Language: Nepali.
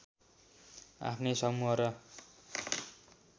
आफ्नै समूह र